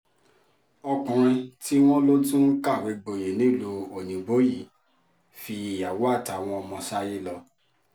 ọkùnrin tí wọ́n lọ tún kàwé gboyè nílùú òyìnbó yìí fi ìyàwó àtàwọn ọmọ sáyé lọ